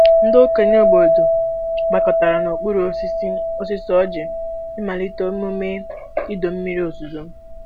Ndị okenye obodo gbakọtara n'okpuru osisi osisi ọjị ịmalite emume ịdọ mmiri ozuzo.